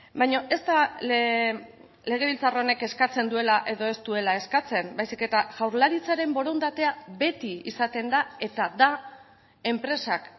baina ez da legebiltzar honek eskatzen duela edo ez duela eskatzen baizik eta jaurlaritzaren borondatea beti izaten da eta da enpresak